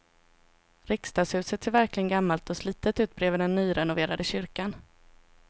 Riksdagshuset ser verkligen gammalt och slitet ut bredvid den nyrenoverade kyrkan.